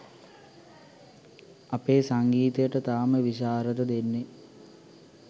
අපේ සංගීතයට තාම විශාරද දෙන්නේ